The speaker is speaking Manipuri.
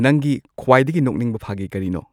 ꯅꯪꯒꯤ ꯈ꯭ꯋꯥꯏꯗꯒꯤ ꯅꯣꯛꯅꯤꯡꯕ ꯐꯥꯒꯤ ꯀꯔꯤꯅꯣ